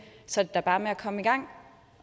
så er bare med at komme i gang